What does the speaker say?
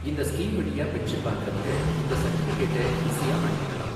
இந்த ஸ்கீம் வழியா பென்ஷன் வாங்கறவங்க இந்த சர்டிபிகேட்ட ஈசியா வாங்கிறலாம்.